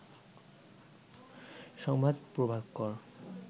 সংবাদ প্রভাকর